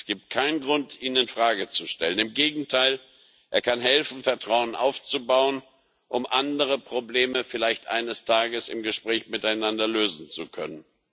Es gibt keinen Grund, ihn in Frage zu stellen im Gegenteil Er kann helfen, Vertrauen aufzubauen, um andere Probleme vielleicht eines Tages im Gespräch miteinander lösen zu können.